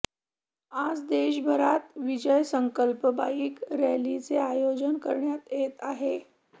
आज देशभरात विजय संकल्प बाईक रॅलीचे आयोजन करण्यात येतं आहे